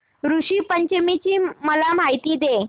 ऋषी पंचमी ची मला माहिती दे